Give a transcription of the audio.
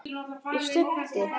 Ég stundi.